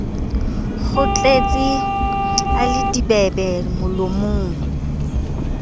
kgohletse a le dibebe molomong